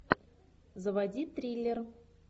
заводи триллер